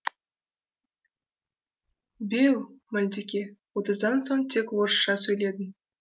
беу малдеке отыздан соң тек орысша сөйледің